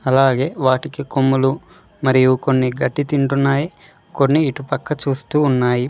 అలాగే వాటికి కొమ్మలు మరియు కొన్ని గడ్డి తింటున్నాయి కొన్ని ఇటుపక్క చూస్తూ ఉన్నాయి.